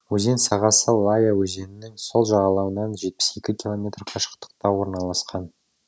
өзен сағасы лая өзенінің сол жағалауынан жетпіс екі километр қашықтықта орналасқан